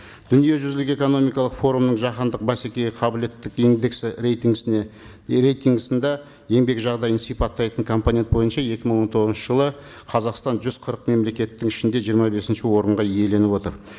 дүниежүзілік экономикалық форумның жаһандық бәсекеге қабілеттік индексі рейтингісінде еңбек жағдайын сипаттайтын компонент бойынша екі мың он тоғызыншы жылы қазақстан жүз қырық мемлекеттің ішінде жиырма бесінші орынға иеленіп отыр